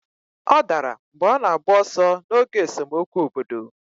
Ọ dara mgbe ọ na-agba ọsọ n'oge esemokwu obodo.